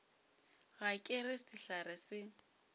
ga ke re sehlare se